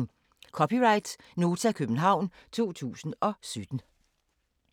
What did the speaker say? (c) Nota, København 2017